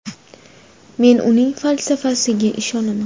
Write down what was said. Men uning falsafasiga ishonaman.